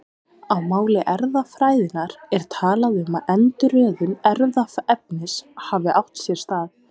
Á máli erfðafræðinnar er talað um að endurröðun erfðaefnis hafi átt sér stað.